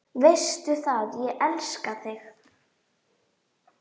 Veistu það, ég elska þig.